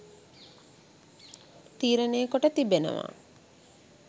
තීරණය කොට තිබෙනවා